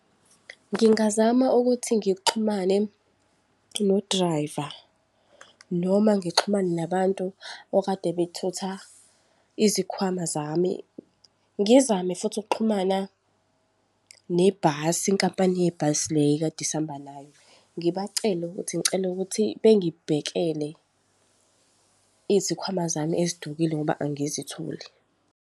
Ngingazama ukuthi ngixhumane no-driver, noma ngixhumane nabantu okade bethutha izikhwama zami. Ngizame futhi ukuxhumana nebhasi, inkampani yebhasi le ekade sihamba nayo. Ngibacele ukuthi ngicela ukuthi bengibhekele izikhwama zami ezidukile ngoba angizitholi.